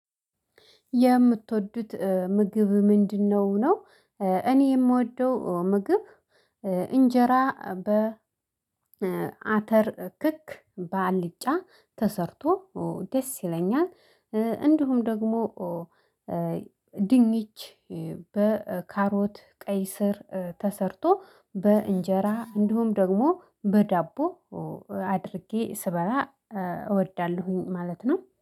የምትወዱት ምግብ ምንድነው ነው? እኔ የምወደው ምግብ እንጀራ በአተር ክክ በአልጫ ተሰርቶ ደስ ይለኛል። እንዲሁም ደግሞ ድንች በካሮት ቀይ ስር ተሰርቶ በእንጀራ እንዲሁም ደግሞ በዳቦ አድርጌ ስበላ እወዳለሁኝ ማለት ነው።